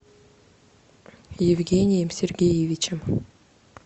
евгением сергеевичем